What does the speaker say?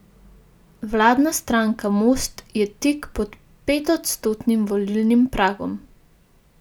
Vladna stranka Most je tik pod petodstotnim volilnim pragom.